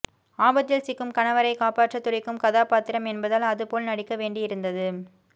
ஆபத்தில் சிக்கும் கணவரை காப்பாற்ற துடிக்கும் கதாபாத்திரம் என்பதால் அதுபோல் நடிக்க வேண்டி இருந்தது